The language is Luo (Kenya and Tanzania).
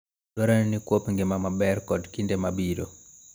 Dwarore nikwop ngima maber kod kinde mabiro.